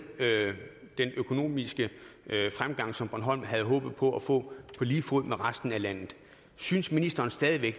den økonomiske fremgang som bornholm havde håbet på at få på lige fod med resten af landet synes ministeren stadig